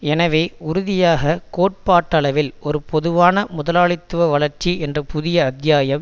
எனவே உறுதியாக கோட்பாட்டளவில் ஒரு பொதுவான முதலாளித்துவ வளர்ச்சி என்ற புதிய அத்தியாயம்